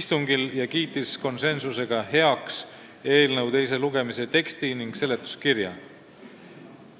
istungil ja kiitis konsensusega heaks eelnõu teise lugemise teksti ning seletuskirja.